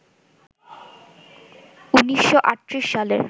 ১৯৩৮ সালের